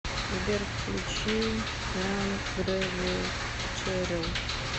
сбер включи янг грэви черил